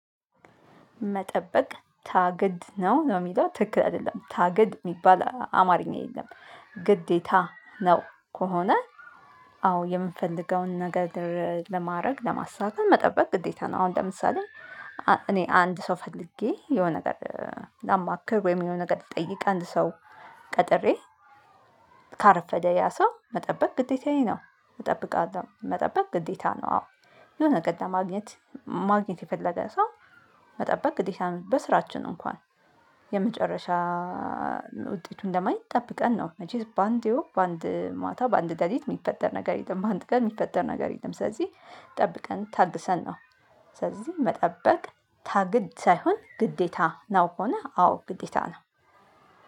መጠበቅ ታግድ ነው ነው የሚለው ትክክል አይደለም ታግድ የሚባል አማርኛ የለም ግዴታ ነው ከሆነ አዎ የምንፈልገውን ነገር ለማድረግ ለማሳካት መጠበቅ ግዴታ ነው አሁን ለምሳሌ እኔ አንድ ሰው ፈልጌ የሆነ ነገር ላማክር ወይም የሆነ ነገር ትጠይቅ አንድ ሰው ቀጥሬ ካረፈደ ያ ሰው መጠበቅ ግዴታዬ ነው እጠብቃለሁ መጠበቅ ግዴታ ነው አዎ የሆነ ነገር ለማግኘት ማግኘት የፈለገ ሰው መጠበቅ ግዴታ ነው በስራችን እንኳን የመጨረሻ ውጤቱን ለማየት ጠብቀን ነው መቼስ በአንዴው በአንድ ማታ በአንድ ለሊት የሚፈጠር ነገር የለም በአንድ ቀን የሚፈጠር ነገር የለም ስለዚህ ጠብቀን ታግሰን ነው ስለዚህ መጠበቅ ታግድ ሳይሆን ግዴታ ነው ከሆነ አዎ ግዴታ ነው።